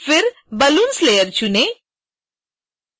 फिर balloons layer चुनें